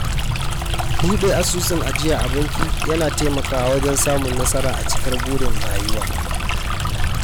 Buɗe asusun ajiya a banki yana taimakawa wajen samun nasara a cikar burin rayuwa.